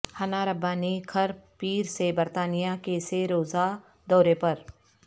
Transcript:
حنا ربانی کھر پیر سے برطانیہ کے سہ روزہ دورے پر